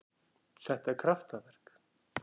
Þetta er kraftaverk.